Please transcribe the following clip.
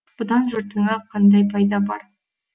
бұдан жұртыңа қандай пайда бар